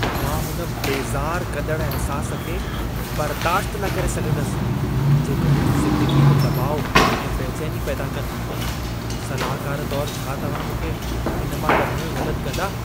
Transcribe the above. मां हुन बेज़ार कंदड़ु अहिसासु खे बर्दाश्त न करे सघंदसि जेको मुंहिंजी ज़िंदगीअ में दॿाउ ऐं बैचैनी पैदा कनि; सलाहकार तौरु, छा तव्हां मूंखे इन मां कढण में मदद कंदा?